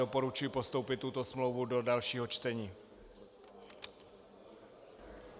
Doporučuji postoupit tuto smlouvu do dalšího čtení.